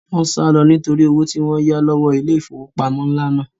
Wọ́n sálọ nítorí owó tí wọ́n yá lọ́wọ́ ilé ìfowópamọ́ ńlá náà